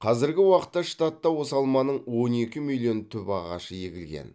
қазіргі уақытта штатта осы алманың он екі миллион түп ағашы егілген